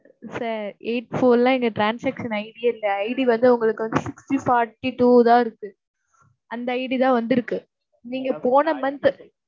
sir eight four எல்லாம் எங்க transaction ID ஏ இல்ல. ID வந்து உங்களுக்கு வந்து sixty forty-two தான் இருக்கு. அந்த ID தான் வந்து இருக்கு நீங்கப் போன month